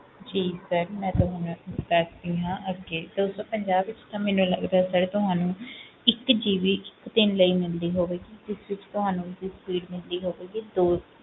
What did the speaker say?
ਜੀ sir ਮੈਂ ਤੁਹਾਨੂੰ ਦੱਸਦੀ ਹਾਂ ਅੱਗੇ ਦੋ ਸੌ ਪੰਜਾਹ ਵਿੱਚ ਤਾਂ ਮੈਨੂੰ ਲੱਗਦਾ sir ਤੁਹਾਨੂੰ ਇੱਕ GB ਇੱਕ ਦਿਨ ਲਈ ਮਿਲਦੀ ਹੋਵੇਗੀ, ਜਿਸ ਵਿੱਚ ਤੁਹਾਨੂੰ ਤੇ speed ਮਿਲਦੀ ਹੋਵੇਗੀ two